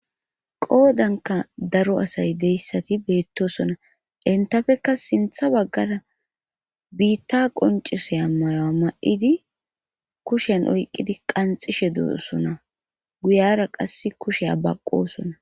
Qoodanka daro asay deyssati beettosona entafeka sintha baggara biitta qoncise ammayo ma'idi kushen oyqqidi qanxishe doosona guyara qass kushe abaqosona.